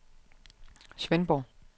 Svendborg